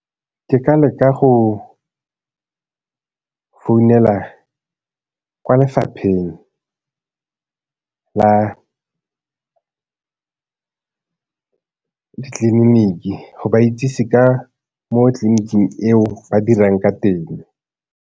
Ke ka leka go founela kwa lefapheng la ditleliniki go ba itsise ka mo tleliniking eo ba dirang ka teng.